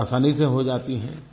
बहुत आसानी से हो जाती हैं